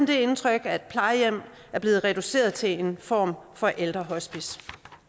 det indtryk at plejehjem er blevet reduceret til en form for ældrehospice